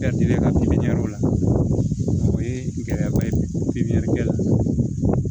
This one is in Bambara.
la o ye gɛlɛyaba ye pipiniyɛrikɛla